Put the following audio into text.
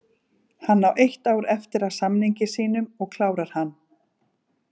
Hann á eitt ár eftir af samningi sínum og klárar hann.